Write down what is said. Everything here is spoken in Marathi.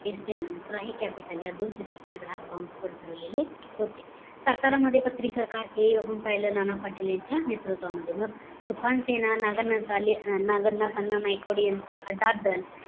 नंतर आहे capital या दोन चित्रपट ग्रहात bomb spot भरलेलं होते सातारामध्ये पत्रीसरकार हे आपुन पाहिलेले नाना पाटील यांच्या नेतृत्वामध्ये मग the fan सेने नागनाथ अण्णा नाईकवाडे यांचा आदद्दल